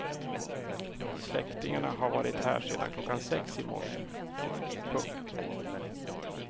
Släktingarna har varit här sedan klockan sex i morse. punkt